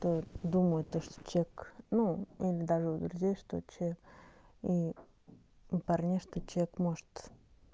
думаю то что чек ну даже у друзей что чек у парней что чек может